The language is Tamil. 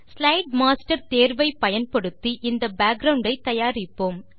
ஸ்லைடு மாஸ்டர் தேர்வை பயன்படுத்தி இந்த பேக்கிரவுண்ட் ஐ தயாரிப்போம்